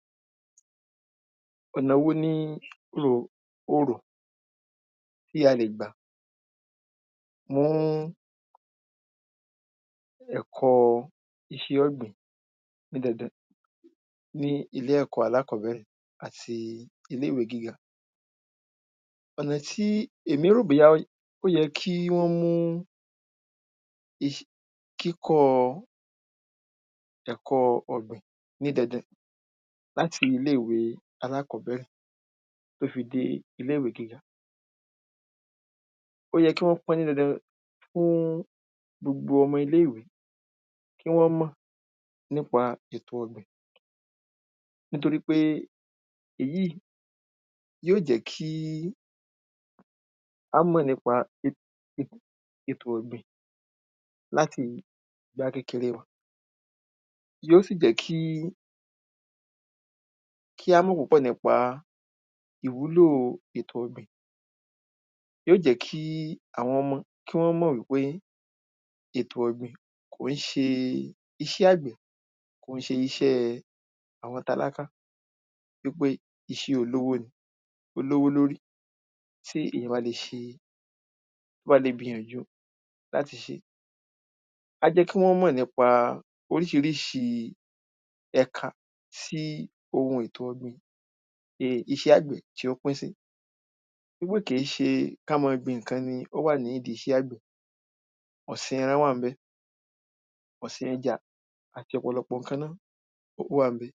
Ọ̀nà wo ni o rò o rò tí a lè gbà fún ẹ̀kọ́ iṣẹ́ ọ̀gbìn ní dandan ní ilé ẹ̀kọ́ alákọ́bẹ̀rẹ̀ àti ní ilé ìwé gíga. Ọ̀nà tí èmi rò bóyá ó yẹ kí wọ́n mú i kíkọ́ ẹ̀kọ́ ọ̀gbìn ní dandan láti ilé ìwé alákọ́bẹ̀rẹ̀ tí ó fi di ilé ìwé gíga. Ó yẹ kí wọ́n pọ́n ní dandan fún gbogbo ọmọ ilé ìwé kí wọ́n mọ̀ nípa ètò ọ̀gbìn nítorípé èyí yó jẹ́ kí á mọ̀ nípa ètò ọ̀gbìn láti ìgbà kékeré wa yó sì jẹ́ kí kí á mọ̀ púpọ̀ nípa ìwúlò ètò ọ̀gbìn yó jẹ́ kí àwọn ọmọ kí wọ́n mọ̀ wípé ètò ọ̀gbìn kò í ṣe iṣẹ́ àgbẹ̀ kò í ṣe iṣẹ́ àwọn tálákà wípé iṣẹ́ olówó ni ó lówó lórí tí èyàn bá le ṣe tí ó bá le gbìyànjú láti ṣé. Ká jẹ́ kí wọ́n mọ̀ nípa oríṣiríṣi ẹka tí ohun ètò ọ̀gbìn iṣẹ́ àgbẹ̀ tí ó pín sí wípé kí ṣe kí á mọ́ gbin nǹkan nìkan ni ó wà nídi iṣẹ́ àgbẹ̀ ọ̀sìn ẹran wà ńbẹ̀ ọ̀sìn ẹja àti ọ̀pọ̀lọpọ̀ nǹkan ó wà ńbẹ̀.